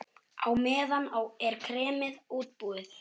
Á meðan er kremið útbúið.